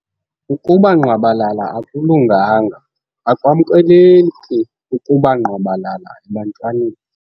Ukuba ngqwabalala akulunganga. Akwamkeleki ukuba ngqwabalala ebantwaneni.